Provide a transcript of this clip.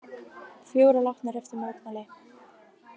Fjórir látnir eftir mótmæli